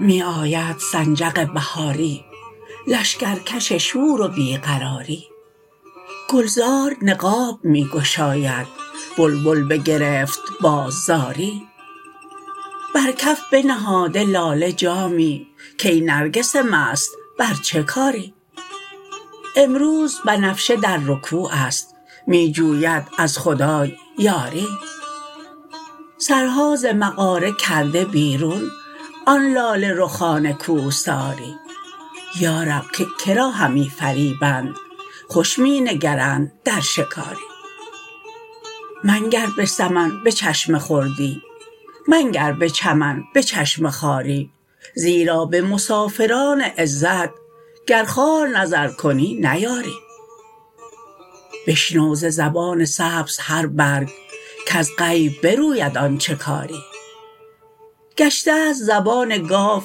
می آید سنجق بهاری لشکرکش شور و بی قراری گلزار نقاب می گشاید بلبل بگرفت باز زاری بر کف بنهاده لاله جامی کای نرگس مست بر چه کاری امروز بنفشه در رکوع است می جوید از خدای یاری سرها ز مغاره کرده بیرون آن لاله رخان کوهساری یا رب که که را همی فریبند خوش می نگرند در شکاری منگر به سمن به چشم خردی منگر به چمن به چشم خواری زیرا به مسافران عزت گر خوار نظر کنی نیاری بشنو ز زبان سبز هر برگ کز عیب بروید آنچ کاری گشته ست زبان گاو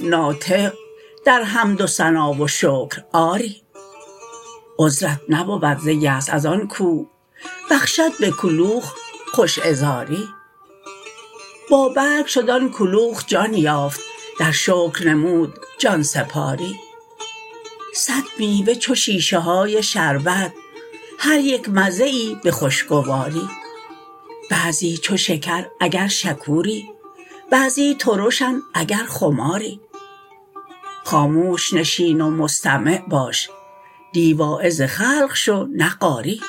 ناطق در حمد و ثنا و شکر آری عذرت نبود ز یأس از آن کو بخشد به کلوخ خوش عذاری بابرگ شد آن کلوخ جان یافت در شکر نمود جان سپاری صد میوه چو شیشه های شربت هر یک مزه ای به خوشگواری بعضی چو شکر اگر شکوری بعضی ترشند اگر خماری خاموش نشین و مستمع باش نی واعظ خلق شو نه قاری